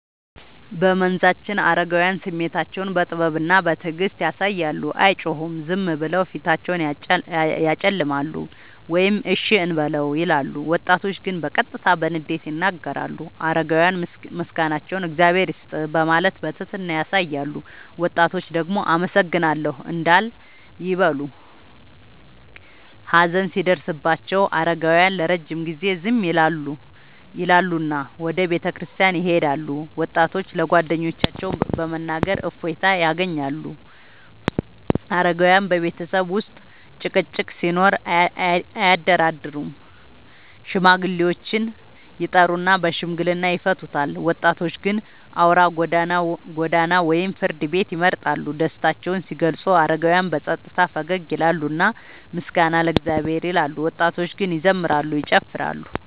በመንዛችን አረጋውያን ስሜታቸውን በጥበብና በትዕግስት ያሳያሉ፤ አይጮሁም፤ ዝም ብለው ፊታቸውን ያጨለማሉ ወይም “እሺ እንበለው” ይላሉ። ወጣቶች ግን በቀጥታ በንዴት ይናገራሉ። አረጋውያን ምስጋናቸውን “እግዚአብሔር ይስጥህ” በማለት በትህትና ያሳያሉ፤ ወጣቶች ደግሞ “አመሰግናለሁ” እንዳል ይበሉ። ሀዘን ሲደርስባቸው አረጋውያን ለረጅም ጊዜ ዝም ይላሉና ወደ ቤተክርስቲያን ይሄዳሉ፤ ወጣቶች ለጓደኞቻቸው በመናገር እፎይታ ያገኛሉ። አረጋውያን በቤተሰብ ውስጥ ጭቅጭቅ ሲኖር አያደራደሩም፤ ሽማግሌዎችን ይጠሩና በሽምግልና ይፈቱታል። ወጣቶች ግን አውራ ጎዳና ወይም ፍርድ ቤት ይመርጣሉ። ደስታቸውን ሲገልጹ አረጋውያን በጸጥታ ፈገግ ይላሉና “ምስጋና ለእግዚአብሔር” ይላሉ፤ ወጣቶች ግን ይዘምራሉ፤ ይጨፍራሉ።